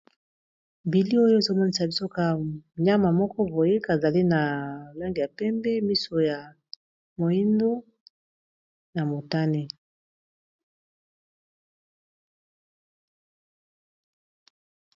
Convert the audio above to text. Bili oyo ezomonisa bisoka nyama moko boyik azali na lolenge ya pembe, miso ya moindo na motane.